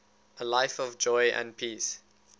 a life of joy and peace